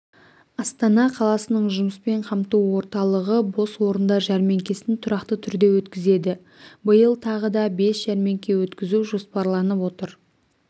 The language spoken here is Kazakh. астана қаласының жұмыспен қамту орталығы бос орындар жәрмеңкесін тұрақты түрде өткізеді биыл тағы да бес жәрмеңке өткізу жоспарланып отыр